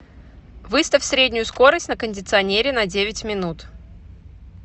выставь среднюю скорость на кондиционере на девять минут